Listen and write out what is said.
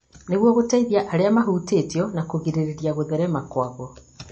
nĩguo gũteithia arĩa mũhutĩtio na kũgirĩrĩria gũtherema kwaguo